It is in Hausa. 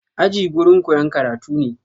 Aji gurin koyan karatu ne